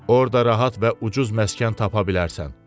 Orda rahat və ucuz məskən tapa bilərsən.